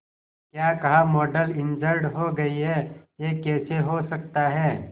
क्या कहा model injured हो गई है यह कैसे हो सकता है